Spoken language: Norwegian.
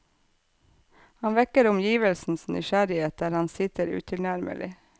Han vekker omgivelsenes nysgjerrighet der han sitter utilnærmelig.